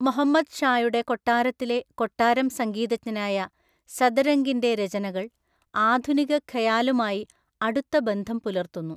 മുഹമ്മദ് ഷായുടെ കൊട്ടാരത്തിലെ, കൊട്ടാരം സംഗീതജ്ഞനായ സദരംഗിന്റെ രചനകൾ ആധുനിക ഖയാലുമായി അടുത്ത ബന്ധം പുലർത്തുന്നു.